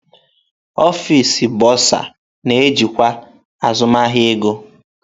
Ọfịs Bọrzà na-ejikwa azụmahịa ego.